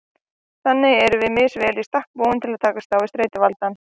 Þannig erum við misvel í stakk búin til að takast á við streituvaldinn.